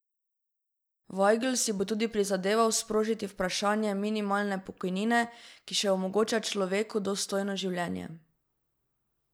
Vajgl si bo tudi prizadeval sprožiti vprašanje minimalne pokojnine, ki še omogoča človeku dostojno življenje.